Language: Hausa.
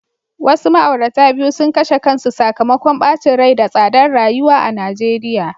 Wasu ma'aurata biyu sun kashe kansu sakamakon bacin rai da tsadar rayuwa a Najeriya.